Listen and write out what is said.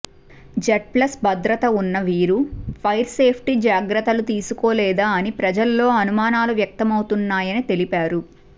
Z plus భద్రత ఉన్న వీరు ఫైర్ సేఫ్టీ జాగ్రత్తలు తీసుకోలేదా అని ప్రజల్లో అనుమానాలు వ్యక్తమవుతున్నాయని తెలిపారు